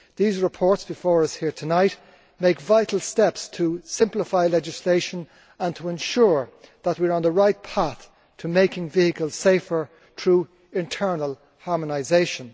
These reports before us here tonight make vital steps to simplify legislation and to ensure that we are on the right path to making vehicles safer through internal harmonisation.